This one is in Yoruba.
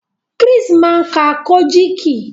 Chris má ká Kojiki.